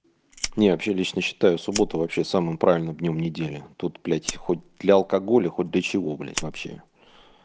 не вообще лично считаю субботу вообще самым правильным днём недели тут блядь хоть для алкоголя хоть до чего блядь вообще